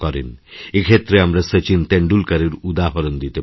এক্ষেত্রে আমরা শচীন তেণ্ডুলকরের উদাহরণ দিতে পারি